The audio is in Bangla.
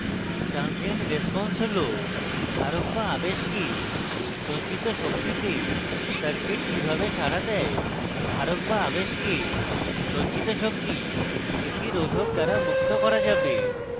transient response হলধারক বা আবেশকে সঞ্চিত শক্তিতে circuit কিভাবে সাড়া দেয় ধারক বা আবেশকে সঞ্চিত শক্তি একটি রোধক দ্বারা মুক্ত করা যাবে